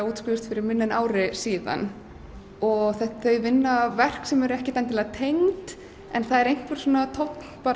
útskrifuðust fyrir minna en ári og þau vinna verk sem eru ekkert endilega tengd en það er einhver tónn